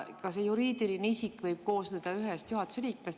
Ka see juriidiline isik võib koosneda ühest juhatuse liikmest.